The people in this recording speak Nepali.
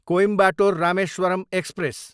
कोइम्बाटोर, रामेश्वरम एक्सप्रेस